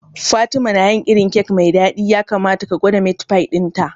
Fatima na yin irin kek mai dadi, ya kamata ka gwada meat pie dinta.